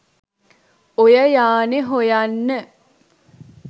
ඔය යානෙ හොයන්න.